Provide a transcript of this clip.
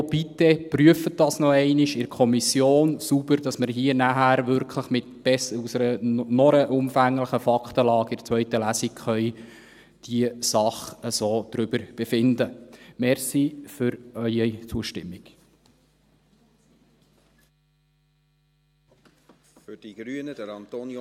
Ergo: Bitte prüfen Sie das bitte noch einmal sauber in der Kommission, sodass wir hier nachher in der zweiten Lesung aus einer noch umfangreicheren Faktenlage über diese Sache befinden können.